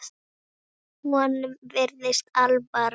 Honum virðist alvara.